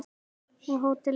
Og hótelið skal byggt.